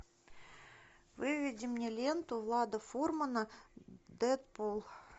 выведи мне ленту влада фурмана дэдпул